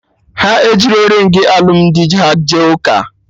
Ha ejirọ ringị alụmdi ha jee ụka